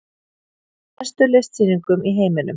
Ein af bestu listsýningum í heiminum